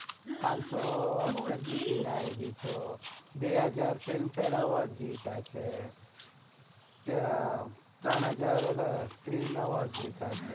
હા પાનસો oscar જીતીને આવેલી છે બે હજાર film fare award જીત્યા છે ત્રણ હજ્જાર screen award જીત્યા છે.